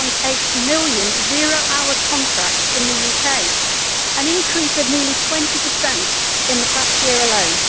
1.8 million zero hours contracts in the UK, an increase of nearly 20 in the past year alone.